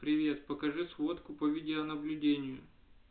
привет покажи сводку по видеонаблюдению